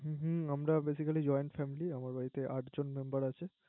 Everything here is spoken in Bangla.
হুম আমার Basically joint family আমার বাড়িতে Member আছে